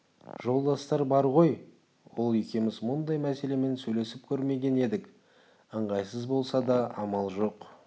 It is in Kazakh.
жолдастар бар ғой ол екеуміз мұндай мәселемен сөйлесіп көрмеген едік ыңғайсыз болса да амал жоқ